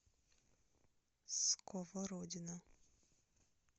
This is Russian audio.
сковородино